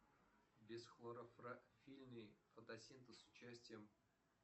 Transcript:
бесхлорофильный фотосинтез с участием